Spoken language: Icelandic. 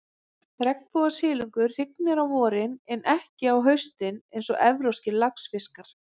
Regnbogasilungur hrygnir á vorin, en ekki á haustin eins og evrópskir laxfiskar.